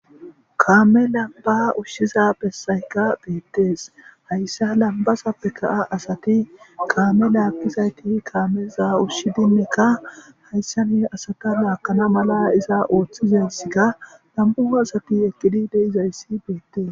Kaame lambbaa ushshiza bessaykka beeththes; hayssa lambbazappekka asathi kaame laaggizaythi kaameza ushshidinnekka hayssani asatha laaggana mala iza ooththizayssika nam7u asathi eqqidi de7izayssi beeththees.